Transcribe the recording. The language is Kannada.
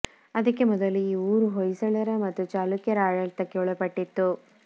ಅದಕ್ಕೆ ಮೊದಲು ಈ ಊರು ಹೊಯ್ಸಳರ ಮತ್ತು ಚಾಲುಕ್ಯರ ಆಡಳಿತಕ್ಕೆ ಒಳಪಟ್ಟಿತ್ತು